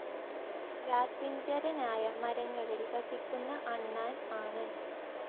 രാത്രിഞ്ചരനായ മരങ്ങളിൽ വസിക്കുന്ന അണ്ണാൻ ആണ്.